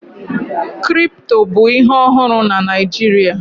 Kripto bụ ihe ọhụrụ na Naịjirịa